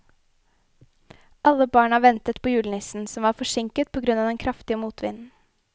Alle barna ventet på julenissen, som var forsinket på grunn av den kraftige motvinden.